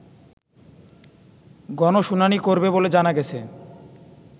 গণশুনানি করবে বলে জানা গেছে